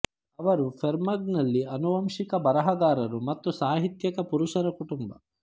ಅವರು ಫೆರ್ಮನಗ್ಹ್ನಲ್ಲಿ ಆನುವಂಶಿಕ ಬರಹಗಾರರು ಮತ್ತು ಸಾಹಿತ್ಯಕ ಪುರುಷರ ಕುಟುಂಬ